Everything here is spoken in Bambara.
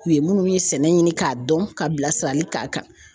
U ye minnu ye sɛnɛ ɲini k'a dɔn ka bilasirali k'a kan